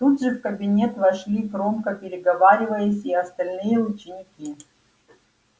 тут же в кабинет вошли громко переговариваясь и остальные ученики